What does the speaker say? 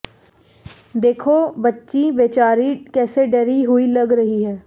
देखो बच्ची बेचारी कैसे डरी हुई लग रही है